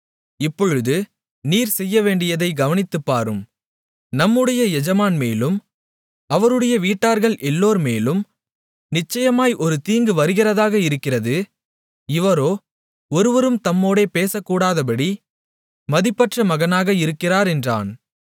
இப்பொழுது நீர் செய்யவேண்டியதைக் கவனித்துப்பாரும் நம்முடைய எஜமான் மேலும் அவருடைய வீட்டார்கள் எல்லோர்மேலும் நிச்சயமாய் ஒரு தீங்கு வருகிறதாக இருக்கிறது இவரோ ஒருவரும் தம்மோடே பேசக்கூடாதபடி மதிப்பற்ற மகனாக இருக்கிறார் என்றான்